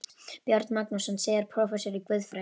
Björn Magnússon, síðar prófessor í guðfræði.